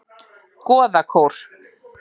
Goðakór